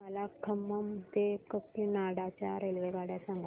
मला खम्मम ते काकीनाडा च्या रेल्वेगाड्या सांगा